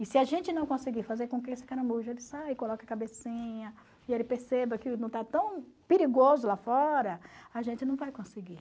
E se a gente não conseguir fazer com que esse caramujo ele saia e coloque a cabecinha, e ele perceba que não está tão perigoso lá fora, a gente não vai conseguir.